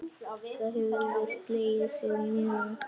Það hefði slegið sig mjög.